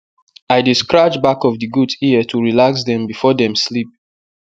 i dey scratch back of the goat ear to relax dem before dem sleep